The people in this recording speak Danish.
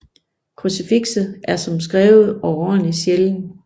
Krucifikset er som skrevet overordentlig sjælden